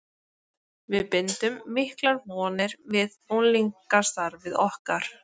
Við bindum miklar vonir við unglingastarfið okkar.